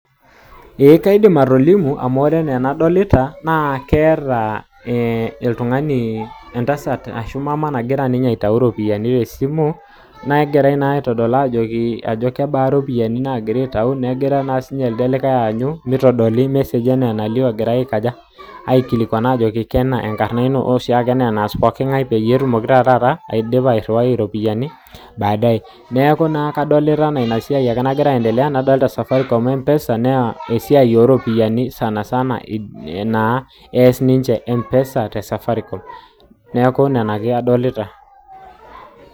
Kaidim atolimu amu oree enaa enadolita naa ketaa oltungani, entasat ashu mama nagira aitayu iropiyiani te simu, negirae aitodol ajoki kaba iropiyiani nagira aitayu negira elde likae anyu mitodoli( massage)enaa enalio egira aikilikwan tenaa kena enkarna ino anaoshiaake enaas pokingae peyie edumoki airiwai iropiyiani (badae) neeku naa kadolita enaa inasiai nagira aendelea nadolita (safaricom empesa)naa esiai iropiyiani (Sana Sana) ees empesa te (safaricom)